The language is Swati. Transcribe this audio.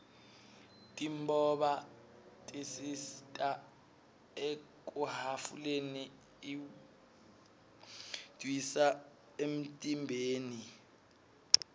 timboba tisita ekyhhafuleni lwdihsa fmtimbeni